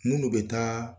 Minnu bɛ taa